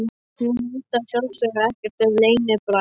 Hún veit að sjálfsögðu ekkert um leynibrall hans.